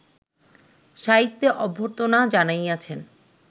সাহিত্যে অভ্যর্থনা জানাইয়াছেন